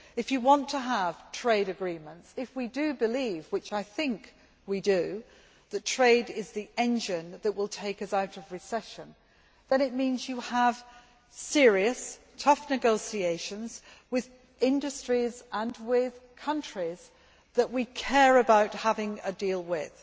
If you want to have trade agreements, if we do believe which I think we do that trade is the engine that will take us out of recession, then it means you have serious, tough negotiations with industries and with countries that we care about having a deal with.